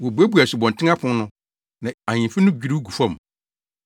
Wobuebue asubɔnten apon no, na ahemfi no dwiriw gu fam.